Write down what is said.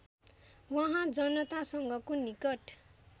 उहाँ जनतासँगको निकट